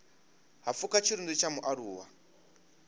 ha pfuka tshirunzi tsha mualuwa